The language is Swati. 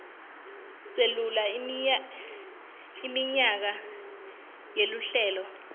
selula iminyaka yeluhlelo